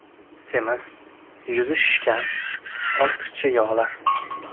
Semiz, yuzi shishgan, ortiqcha yog‘lar.